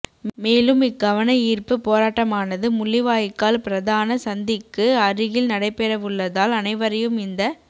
மேலும் இக் கவனயீர்ப்புப் போராட்டமானது முள்ளிவாய்க்கால் பிரதான சந்திக்கு அருகில் நடைபெறவுள்ளதால் அனைவரையும் இந்த